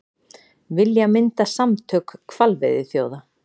Vilja mynda samtök hvalveiðiþjóða